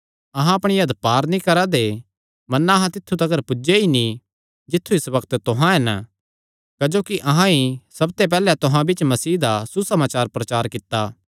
अहां अपणी हद पार नीं करा दे मन्ना अहां तित्थु तिकर पुज्जे ई नीं जित्थु इस बग्त तुहां हन क्जोकि अहां ई सबते पैहल्ले तुहां बिच्च मसीह दा सुसमाचार प्रचार कित्ता